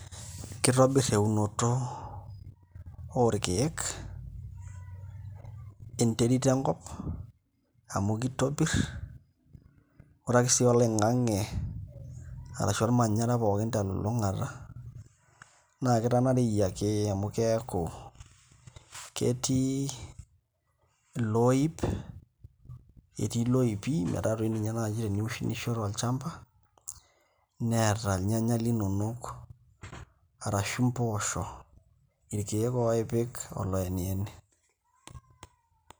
Kitobirr eunoto orkeek enterit enkop amu kitopirr ore ake sii oloing'ang'e arashu ormanyara pookin telulung'ata naa kitanareyie ake amu keeku ketii oloip, etii ilopipi ata toi ninye naai eniunisho tolchamba neeta ilnyanya linonok arashu impoosho irkeek oopik oloenieni.